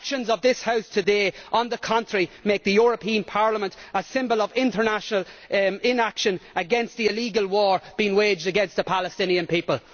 The actions of this House today, by contrast, make the European Parliament a symbol of international inaction against the illegal war being waged against the Palestinian people.